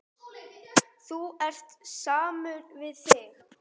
Þú ert samur við þig!